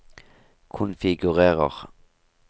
konfigurer